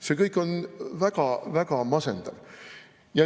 See kõik on väga-väga masendav.